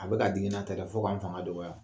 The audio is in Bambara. A bɛ ka digi na tɛ dɛ fo k'an fanga dɔgɔya.